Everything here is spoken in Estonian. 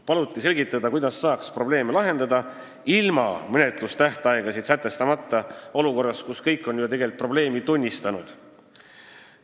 Paluti selgitada, kuidas saaks probleeme lahendada ilma menetlustähtaegasid sätestamata olukorras, kus kõik on ju tegelikult probleemi tunnistanud.